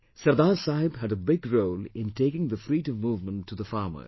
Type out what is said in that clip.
Sardar Saheb had a big role in taking the Freedom movement to the farmers